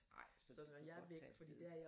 Ej så kan du godt tage afsted